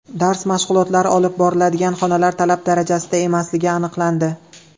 Dars mashg‘ulotlari olib boriladigan xonalar talab darajasida emasligi aniqlandi.